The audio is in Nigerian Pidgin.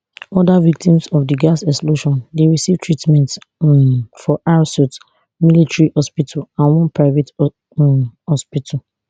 oda victims of di gas explosion dey receive treatment um for rsuth military hospital and one private um hospital